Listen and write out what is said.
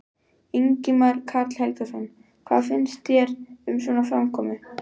Ingimar Karl Helgason: Hvað finnst þér um svona framkomu?